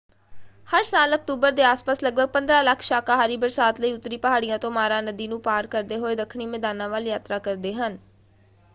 ਹਰ ਸਾਲ ਅਕਤੂਬਰ ਦੇ ਆਸ ਪਾਸ ਲਗਭਗ 15 ਲੱਖ ਸ਼ਾਕਾਹਾਰੀ ਬਰਸਾਤ ਲਈ ਉੱਤਰੀ ਪਹਾੜੀਆਂ ਤੋਂ ਮਾਰਾ ਨਦੀ ਨੂੰ ਪਾਰ ਕਰਦੇ ਹੋਏ ਦੱਖਣੀ ਮੈਦਾਨਾਂ ਵੱਲ ਯਾਤਰਾ ਕਰਦੇ ਹਨ।